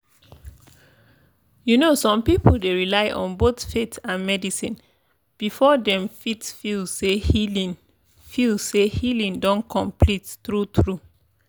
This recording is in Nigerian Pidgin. you know some people dey rely on both faith and medicine before dem fit feel say healing feel say healing don complete true-true.